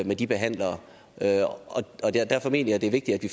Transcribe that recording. med de behandlere og derfor mener jeg det er vigtigt at vi